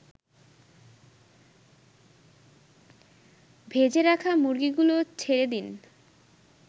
ভেজে রাখা মুরগিগুলো ছেড়েদিন